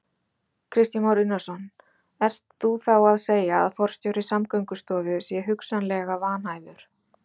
Kristján Már Unnarsson: Ert þú þá að segja að forstjóri Samgöngustofu sé hugsanlega vanhæfur?